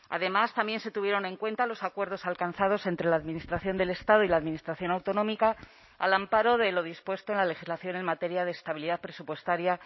además también se tuvieron en cuenta los acuerdos alcanzados entre la administración del estado y la administración autonómica al amparo de lo dispuesto en la legislación en materia de estabilidad presupuestaria